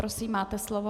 Prosím, máte slovo.